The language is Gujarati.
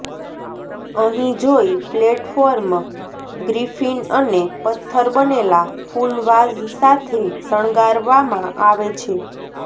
અહીં જોઈ પ્લેટફોર્મ ગ્રિફીન અને પથ્થર બનેલા ફૂલ વાઝ સાથે શણગારવામાં આવે છે